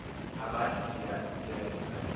abathi tiavi le